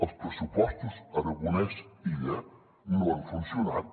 els pressupostos aragonès illa no han funcionat